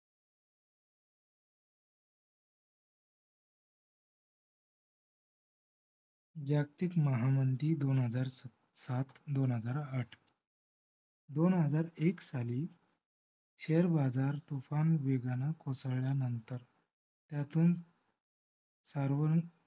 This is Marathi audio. जागतिक महामंदी दोन हजार सात दोन हजार आठ. दोन हजार एक साली share बाजार तूफान वेगाने कोसळल्यानंतर. त्यातून सर्व